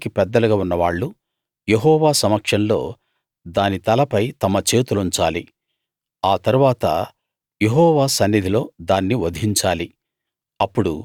సమాజానికి పెద్దలుగా ఉన్నవాళ్ళు యెహోవా సమక్షంలో దాని తలపై తమ చేతులుంచాలి ఆ తరువాత యెహోవా సన్నిధిలో దాన్ని వధించాలి